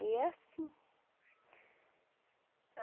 E é assim.